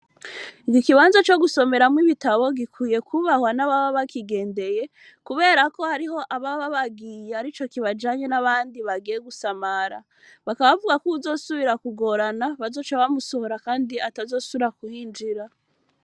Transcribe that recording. Igi kibanzo co gusomeramwo ibitabo gikwiye kubahwa n'ababa bakigendeye, kubera ko hariho abababagiye ari co kibajanye n'abandi bagiye gusamara bakabavuga ko uwuzosubira kugorana bazoca bamusohora, kandi atazosura kuhinjira.